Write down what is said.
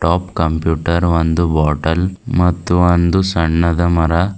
computer ಒಂದು bottle ಮತ್ತು ಒಂದು ಸಣ್ಣದ ಮರ--